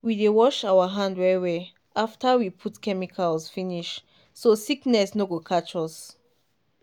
we dey wash our hand well well after we put chemicals finish so sickness no go catch us.